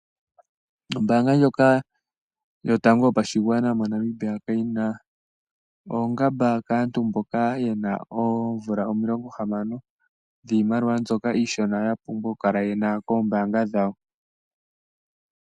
Ombaanga ndjoka yotango yopashiwana moNamibia kayi na oongamba kaantu mboka ye na oomvula omilongo hamano dhiimaliwa mbyoka iishona ya pumbwa okukala ye na koombanga dhawo.